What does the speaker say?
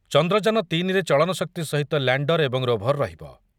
ଚନ୍ଦ୍ରଯାନ ତିନି ରେ ଚଳନଶକ୍ତି ସହିତ ଲ୍ୟାଣ୍ଡର ଏବଂ ରୋଭର ରହିବ ।